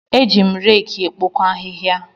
Eji m reeki ekpokọ ahịhịa.